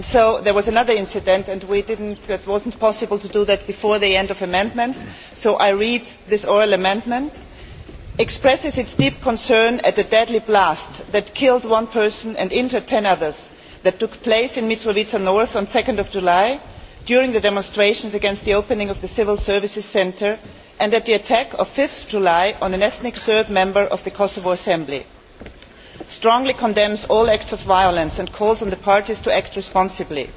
There was another incident and it was not possible to make reference to it before the end of the amendments so I will read this oral amendment Expresses its deep concern at the deadly blast that killed one person and injured 10 others that took place in Mitrovica North on 2 July during the demonstrations against the opening of the civil services centre and at the attack of 5 July on an ethnic Serb member of the Kosovo Assembly strongly condemns all acts of violence and calls on the parties to act responsibly